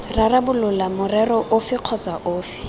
rarabolola morero ofe kgotsa ofe